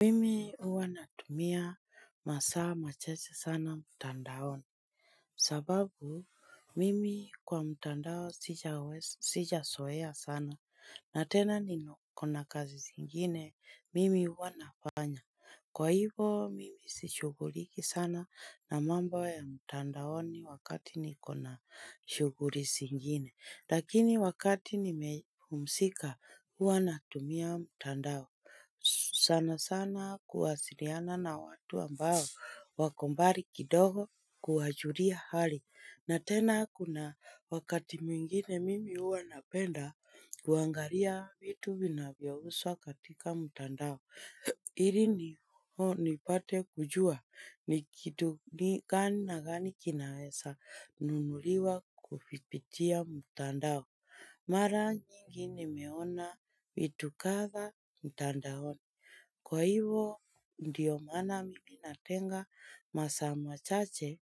Mimi huwa natumia masaa machache sana mtandaoni. Sababu mimi kwa mtandaon sijazoea sana na tena niko na kazi zingine mimi huwa nafanya. Kwa hivyo mimi sishughuliki sana na mamba ya mtandaoni wakati nikona shughuli zingine lakini wakati nimepumzika huwa natumia mtandao. Sana sana kuwasiliana na watu ambao wako mbali kidogo kuwajulia hali. Na tena kuna wakati mwingine mimi huwa napenda kuangalia vitu vinavyouzwa katika mtandao. Ili ni pate kujua ni kitu ni gani na gani kinaweza nunuliwa kupitia mtandao. Mara nyingi nimeona vitu kadhaa mtandaoni. Kwa hivo ndiyo maana mimi natenga masaa machache